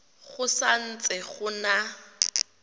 go sa ntse go na